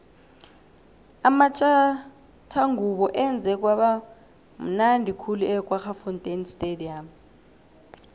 amatjathangubo enze kwaba mnundi khulu ekwaggafontein stadium